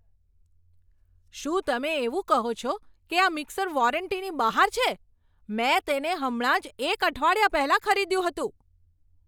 શું તમે એવું કહો છો કે આ મીક્ષર વોરંટીની બહાર છે? મેં તેને હમણાં જ એક અઠવાડિયા પહેલા ખરીદ્યુ હતું!